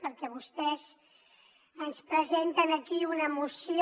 perquè vostès ens presenten aquí una moció